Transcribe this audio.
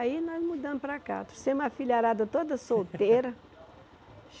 Aí nós mudamos para cá, trouxemos a filharada toda solteira.